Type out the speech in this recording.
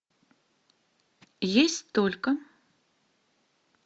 есть только